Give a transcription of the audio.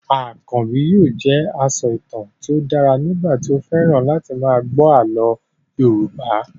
Akànbi yóò jẹ asọ̀tàn tí ó dára nígbà tí ó fẹ́ràn láti máa gbọ́ àlọ́ Yorùbá